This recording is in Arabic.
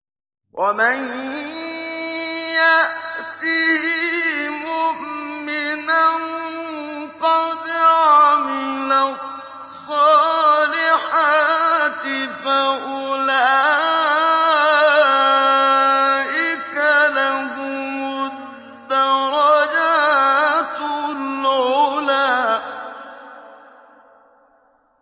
وَمَن يَأْتِهِ مُؤْمِنًا قَدْ عَمِلَ الصَّالِحَاتِ فَأُولَٰئِكَ لَهُمُ الدَّرَجَاتُ الْعُلَىٰ